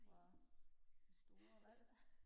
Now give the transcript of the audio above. fra store valg